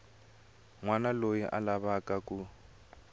wana loyi a lavaka ku